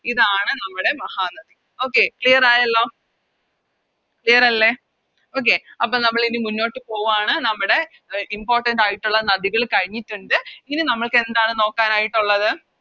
ഇതാണ് നമ്മുടെ Mahanadi Okay clear ആണല്ലോ Clear അല്ലെ Okay അപ്പൊ നമ്മളിനി മുന്നോട്ട് പോവാണ് നമ്മുടെ Important ആയിട്ടൊള്ള നദികള് കഴിഞ്ഞിട്ടൊണ്ട് ഇനി നമ്മൾക്കെന്താണ് നോക്കാനായിട്ടുള്ളത്